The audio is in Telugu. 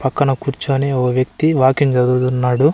పక్కన కూర్చొని ఒక వ్యక్తి వాకింగ్ చదువుతున్నాడు.